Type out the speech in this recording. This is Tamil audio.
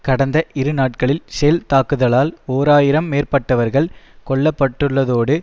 கடந்த இரு நாட்களில் ஷெல் தாக்குதலால் ஓர் ஆயிரம் மேற்பட்டவர்கள் கொல்ல பட்டுள்ளதோடு